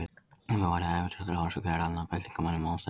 Og það var ævintýraþráin sem gerði hann að byltingarmanni